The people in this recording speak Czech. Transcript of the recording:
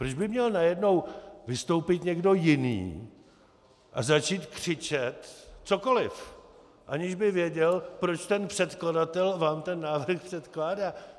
Proč by měl najednou vystoupit někdo jiný a začít křičet cokoliv, aniž by věděl, proč ten předkladatel vám ten návrh předkládá?